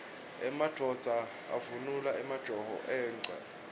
emadvodza avunula emajobo engwe